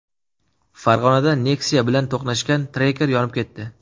Farg‘onada Nexia bilan to‘qnashgan Tracker yonib ketdi.